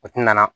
O ti nana